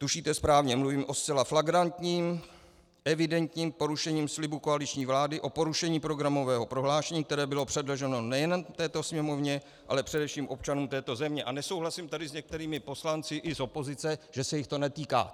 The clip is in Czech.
Tušíte správně, mluvím o zcela flagrantním evidentním porušení slibu koaliční vlády, o porušení programového prohlášení, které bylo předloženo nejen této Sněmovně, ale především občanům této země, a nesouhlasím tady s některými poslanci i z opozice, že se jich to netýká.